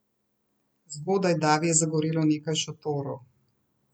Zgodaj davi je zagorelo nekaj šotorov.